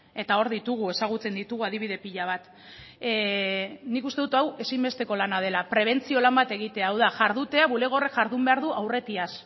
eta hor ditugu ezagutzen ditugu adibide pila bat nik uste dut hau ezinbesteko lana dela prebentzio lan bat egitea hau da jardutea bulego horrek jardun behar du aurretiaz